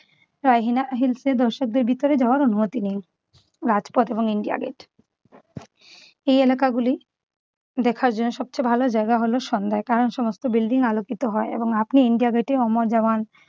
দর্শকদের ভিতরে যাওয়ার অনুমতি নেই‌। রাজপথ এবং ইন্ডিয়া গেট এই এলাকাগুলি দেখার জন্য সবচেয়ে ভালো জায়গা হল সন্ধ্যায়। কারণ সমস্ত building আলোকিত হয় এবং আপনি ইন্ডিয়ান গেটে অমর জাওয়ান